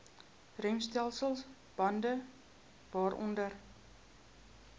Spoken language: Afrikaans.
remstelsel bande waaronder